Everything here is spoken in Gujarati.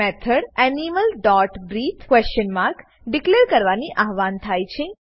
method animal dot breathe question mark declare કરવાથી આવ્હાન થાય છે